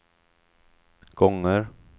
gånger